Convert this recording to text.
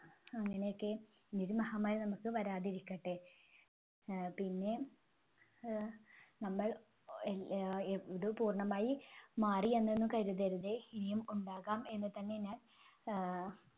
അങ്ങനെയൊക്കെ ഇനി ഒരു മഹാമാരി നമുക്ക് വരാതിരിക്കട്ടെ. അഹ് പിന്നെ അഹ് നമ്മൾ ഇത് പൂർണ്ണമായി മാറിയെന്നൊന്നും കരുതരുതേ. ഇനിയും ഉണ്ടാകാം എന്നുതന്നെ ഞാൻ ആഹ്